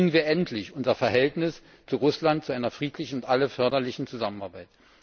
Bringen wir endlich unser Verhältnis zu Russland zu einer friedlichen und für alle förderlichen Zusammenarbeit.